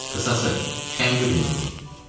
Qısası, şənbə günü idi.